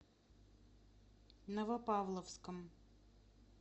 новопавловском